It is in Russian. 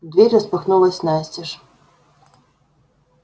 дверь распахнулась настежь